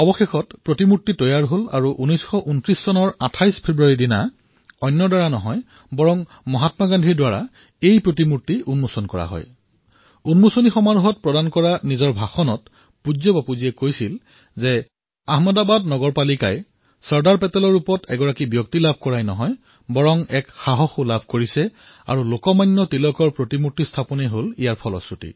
শেষত এই মূৰ্তি প্ৰস্তুত হল আৰু চৰ্দাৰ চাহাবে নহয়২৮ ফেব্ৰুৱাৰী ১৯২৯ চনত মহাত্মা গান্ধীয়ে এই মূৰ্তিৰ উদঘাটন কৰে আৰু আমোদজনক কথা এয়ে যে সেই সমাৰোহত পূজ্য বাপুৱে ভাষণ প্ৰদান কৰি কলে যে চৰ্দাৰ পেটেল অহাৰ পিছত আহমেদাবাদৰ নগৰ পালিকাই কেৱল এজন ব্যক্তিয়েই নহয় এজন সাহসী ব্যক্তি পালে যাৰ বাবে তিলকৰ মূৰ্তি স্থাপন সম্ভৱ হল